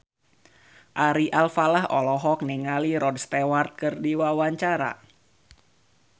Ari Alfalah olohok ningali Rod Stewart keur diwawancara